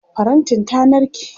farantin ta narke